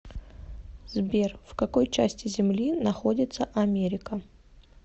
сбер в какой части земли находится америка